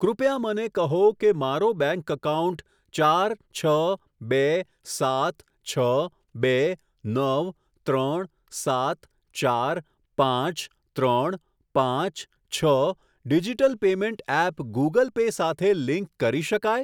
કૃપયા મને કહો કે મારો બેંક એકાઉન્ટ ચાર છ બે સાત છ બે નવ ત્રણ સાત ચાર પાંચ ત્રણ પાંચ છ digital payment app Google Pay સાથે લિંક કરી શકાય?